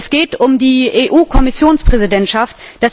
Es geht um die EU Kommissionspräsidentschaft.